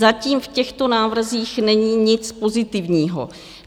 Zatím v těchto návrzích není nic pozitivního.